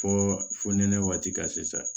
Fɔ fo nɛnɛ waati ka se